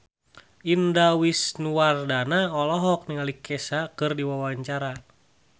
Indah Wisnuwardana olohok ningali Kesha keur diwawancara